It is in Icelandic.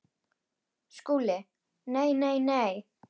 SKÚLI: Nei, nei, nei!